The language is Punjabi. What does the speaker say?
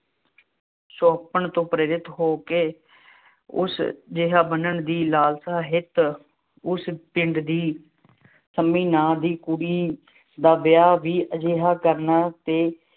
ਸੁਹੱਪਣ ਤੋਂ ਪ੍ਰੇਰਿਤ ਹੋ ਕੇ, ਉਸ ਜਿਹਾ ਬਣਨ ਦੀ ਲਾਲਸਾ ਹਿੱਤ, ਉਸ ਪਿੰਡ ਦੀ ਸੰਮੀ ਨਾਂ ਦੀ ਕੁੜੀ ਦਾ ਵਿਆਹ ਵੀ ਅਜਿਹਾ ਕਰਨ ਤੇ